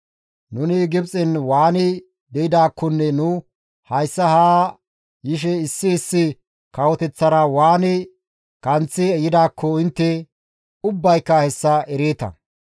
Nuni Gibxen waani de7idaakkonne nu hayssa haa yishe issi issi kawoteththara waani kanththi yidaakko intte ubbayka hessa ereeta.